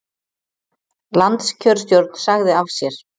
Landskjörstjórn sagði af sér